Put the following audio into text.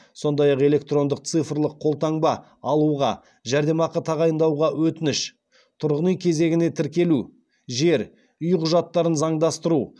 сондай ақ электрондық цифрлық қолтаңба алуға жәрдемақы тағайындауға өтініш тұрғын үй кезегіне тіркелу жер үй құжаттарын заңдастыру